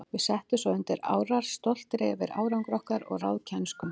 Við settumst svo undir árar, stoltir yfir árangri okkar og ráðkænsku.